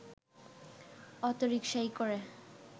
অটোরিকশায় করে